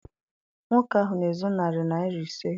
Nwoke ahụ na-ezu narị naịra ise.